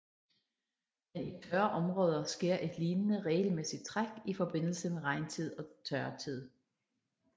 Men i tørre områder sker et lignende regelmæssigt træk i forbindelse med regntid og tørtid